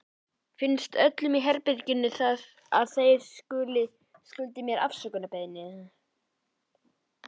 Finnst öllum í herberginu ekki að þeir skuldi mér afsökunarbeiðni?